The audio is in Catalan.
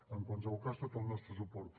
en qualsevol cas tot el nostre suport